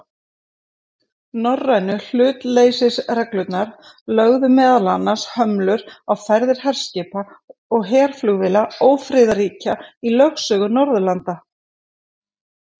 Norrænu hlutleysisreglurnar lögðu meðal annars hömlur á ferðir herskipa og herflugvéla ófriðarríkja í lögsögu Norðurlanda.